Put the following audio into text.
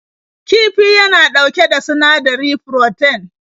Kifi yana ɗauke da sinadari froten.